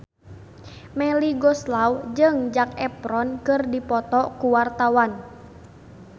Melly Goeslaw jeung Zac Efron keur dipoto ku wartawan